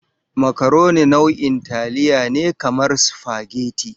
Makaroni nau'in taliya ne kamar supageti.